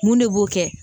Mun de b'o kɛ